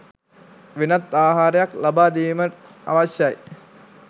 වෙනත් ආහාරයක් ලබා දීම අවශ්‍යයි